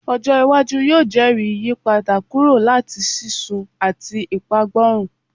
Ojo iwaju yoo jẹri iyipada kuro lati sisun ati ipagborun